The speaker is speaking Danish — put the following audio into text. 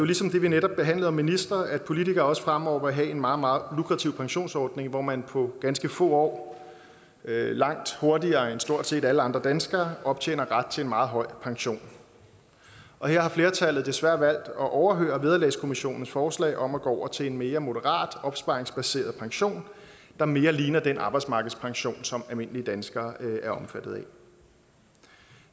ligesom det vi netop behandlede om ministre at politikere også fremover vil have en meget lukrativ pensionsordning hvor man på ganske få år langt hurtigere end stort set alle andre danskere optjener ret til en meget høj pension og her har flertallet desværre valgt at overhøre vederlagskommissionens forslag om at gå over til en mere moderat opsparingsbaseret pension der mere ligner den arbejdsmarkedspension som almindelige danskere er omfattet af